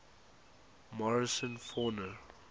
morrison fauna